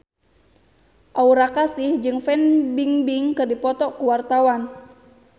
Aura Kasih jeung Fan Bingbing keur dipoto ku wartawan